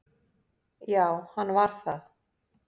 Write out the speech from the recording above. Já, hann var það